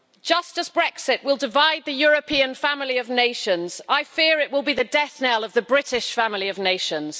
Just as Brexit will divide the European family of nations, I fear it will be the death knell of the British family of nations.